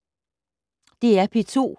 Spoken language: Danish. DR P2